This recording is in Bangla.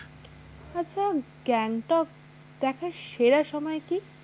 আচ্ছা গ্যাংটক দেখার সেরা সময় কি?